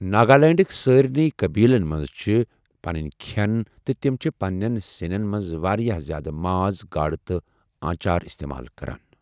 ناگالینڈٕک سارنٕے قٕبیلَن منٛز چھِ پنٕنۍ کھِٮ۪ن، تہٕ تِم چھِ پنِنٮ۪ن سِنٮ۪ن منٛز واریٛاہ زِیٛادٕ ماز، گاڈٕ تہٕ آنٛچار استعمال کران۔